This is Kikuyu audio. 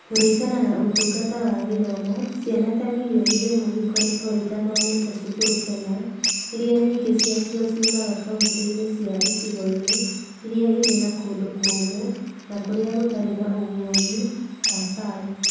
Kuringana na Ũtungata wa Gĩthomo, ciana ta mirioni ĩmwe ikoretwo itathomete cukuru Kenya, iria nyingĩ ciacio ciumaga kaunti-inĩ cia icigo-inĩ iria irĩ na kũndũ kũũmũ na kũrĩa gũtarĩ na ũguĩmi (ASAL).